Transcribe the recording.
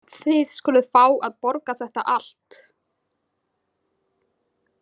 Þið skuluð fá að borga þetta allt.